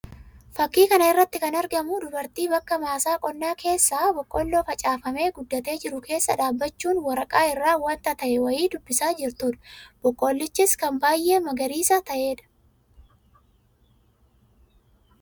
Fakkii kana irratti kan argamu dubartii bakka maasaa qonnaa keessaa boqqolloo facaafamee guddatee jiru kesssaa dhaabbachuun waraqaa irraa wanta ta'e wayii dubbisaa jirtuu dha. Boqqollichis kan baayyee magariisaa ta'ee dha.